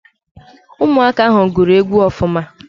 Ụmụaka ahụ gụrụ egwu ọfụma